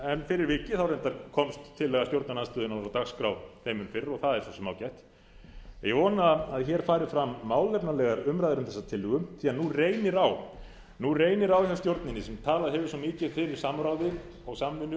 en fyrir vikið reyndar komst tillaga stjórnarandstöðunnar á dagskrá þeim mun fyrr og það er svo sem ágætt ég vona að hér fram fram málefnalegar umræður um þessa tillögu því að nú reynir á hjá stjórninni sem talað hefur svo mikið fyrir samráði og samvinnu